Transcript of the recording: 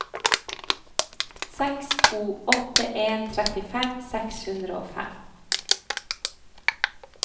seks to åtte en trettifem seks hundre og fem